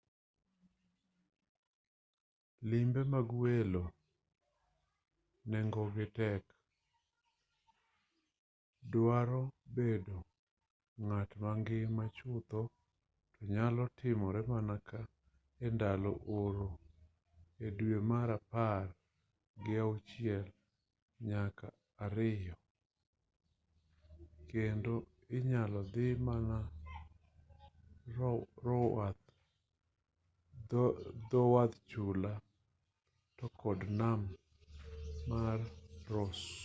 limbe mag welo nengogi tek dwaro bedo ng'at mangima chutho to nyalo timore mana endalo oro e dwe mar apar gi achiel nyaka ariyo kendo inyalo dhi mana dhowath chula to kod nam mar ross